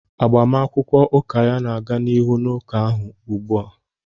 Agbamakwụkwọ ụka ya na-aga n'ihu n'ụka ahụ ugbu a